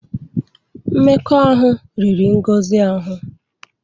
Mmekọahụ riri Ngozi ahụ.